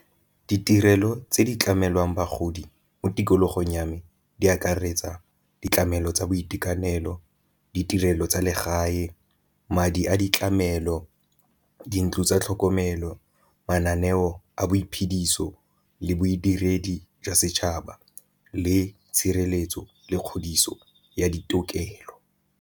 Ditirelo tse di tlamelwang bagodi mo tikologong ya me di akaretsa ditlamelo tsa boitekanelo, ditirelo tsa legae, madi a ditlamelo, dintlo tsa tlhokomelo, mananeo a bo iphediso le bodiredi jwa setšhaba le tshireletso le kgodiso ya ditokelo.